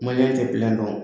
tɛ kulonkɛ dɔn.